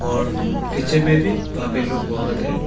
और पीछे में भी पब्लिक लोग बहुत है।